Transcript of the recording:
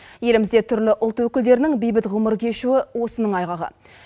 елімізде түрлі ұлт өкілдерінің бейбіт ғұмыр кешуі осының айғағы